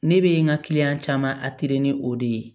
Ne bɛ n ka caman ni o de ye